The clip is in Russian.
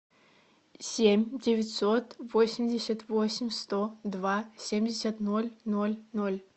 семь девятьсот восемьдесят восемь сто два семьдесят ноль ноль ноль